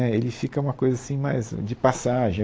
Né, ele fica uma coisa assim, mais de passagem.